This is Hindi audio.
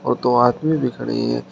और दो आदमी भी खड़े हैं।